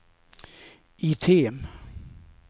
item